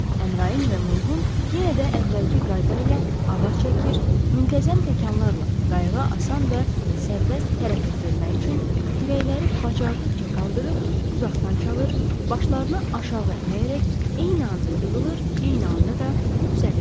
Əmraın və Mulqun yenə də əvvəlki qayda ilə avar çəkir, müntəzəm təkanlarla qayığa asan və sərbəst hərəkət vermək üçün kürəkləri bacardıqca qaldırıb uzaqdan çalır, başlarını aşağı əyərək eyni anda yığılır, eyni anda da düzəlirdilər.